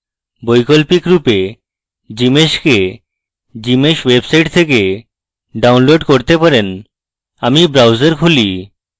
বৈকল্পিকরূপে gmsh কে gmsh website থেকে download করতে পারেন আমি browser খুলি